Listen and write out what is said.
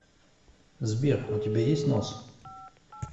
сбер у тебя есть нос